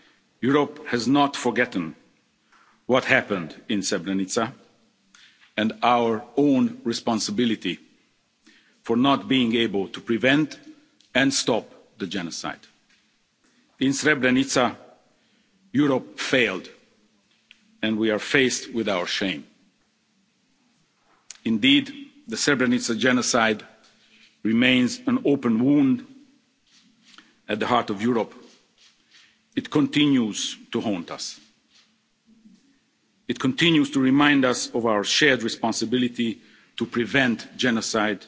Europe has not forgotten what happened in Srebrenica or our own responsibility for not being able to prevent and stop the genocide. In Srebrenica, Europe failed, and we are faced with our shame. Indeed, the Srebrenica genocide remains an open wound at the heart of Europe. It continues to haunt us. It continues to remind us of our shared responsibility to prevent genocide